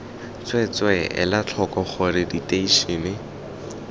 tsweetswee etla tlhoko gore diteišene